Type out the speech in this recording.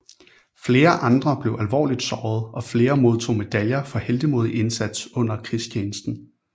Flere andre blev alvorligt såret og flere modtog medaljer for heltemodig indsats under krigstjenesten